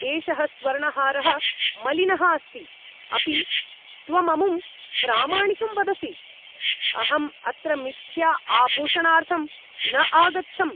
एषः स्वर्णहारः मलिनः अस्ति, अपि त्वममुं प्रामाणिकं वदसि? अहं अत्र मिथ्या आभूषणार्थं न आगच्छम्!